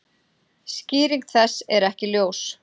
Skýring þess er ekki ljós.